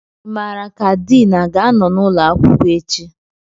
Ị mara ka Din a ga-anọ n'ụlọ akwụkwọ echi?